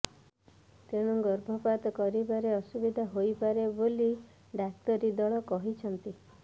ତେଣୁ ଗର୍ଭପାତ କରିବାରେ ଅସୁବିଧା ହୋଇପାରେ ବୋଲି ଡାକ୍ତରୀଦଳ କହିଛନ୍ତି